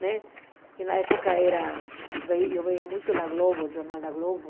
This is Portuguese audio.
Né e na época era, eu via via muito na globo o Jornal da Globo.